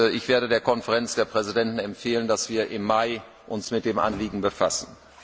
Ich werde der Konferenz der Präsidenten empfehlen, dass wir uns im Mai mit dem Anliegen befassen.